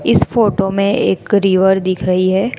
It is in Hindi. इस फोटो में एक रिवर दिख रही है।